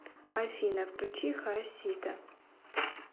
афина включи хаосита